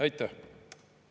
Aitäh!